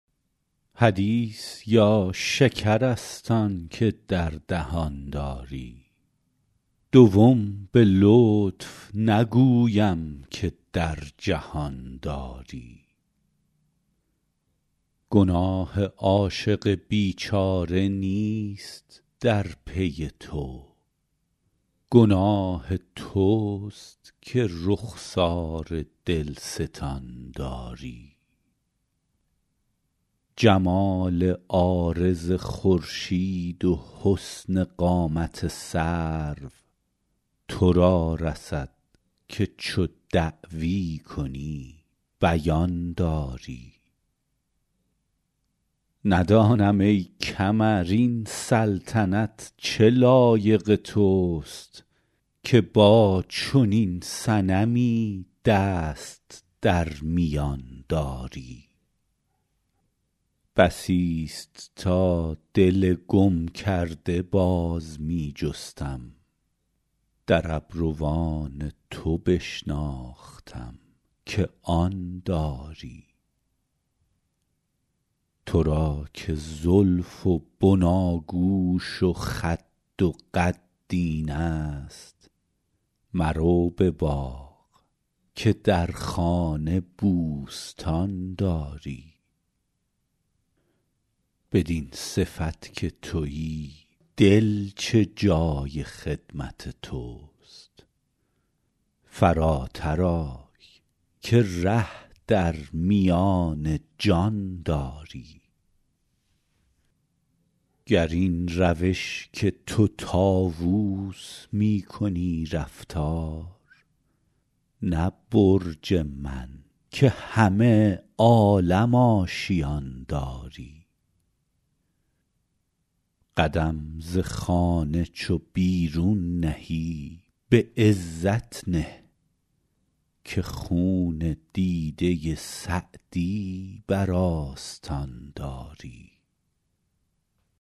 حدیث یا شکر است آن که در دهان داری دوم به لطف نگویم که در جهان داری گناه عاشق بیچاره نیست در پی تو گناه توست که رخسار دلستان داری جمال عارض خورشید و حسن قامت سرو تو را رسد که چو دعوی کنی بیان داری ندانم ای کمر این سلطنت چه لایق توست که با چنین صنمی دست در میان داری بسیست تا دل گم کرده باز می جستم در ابروان تو بشناختم که آن داری تو را که زلف و بناگوش و خد و قد اینست مرو به باغ که در خانه بوستان داری بدین صفت که تویی دل چه جای خدمت توست فراتر آی که ره در میان جان داری گر این روش که تو طاووس می کنی رفتار نه برج من که همه عالم آشیان داری قدم ز خانه چو بیرون نهی به عزت نه که خون دیده سعدی بر آستان داری